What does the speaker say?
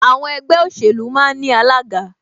Àwọn ẹgbẹ́ òṣèlú máa ń ní alága